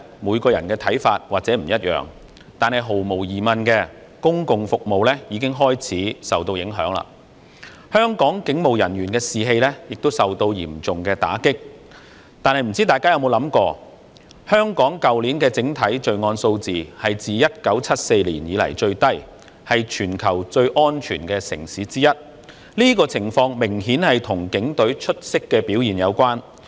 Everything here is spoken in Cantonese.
每個人的看法或許不同，但毫無疑問，公共服務已經開始受到影響，香港警務人員的士氣亦受到嚴重打擊，但大家有否想過，香港去年的整體罪案數字是自1974年以來最低，是全球最安全的城市之一，這個情況明顯與警隊出色的表現有關。